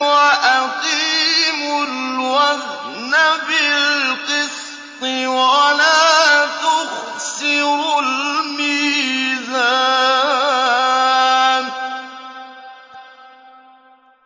وَأَقِيمُوا الْوَزْنَ بِالْقِسْطِ وَلَا تُخْسِرُوا الْمِيزَانَ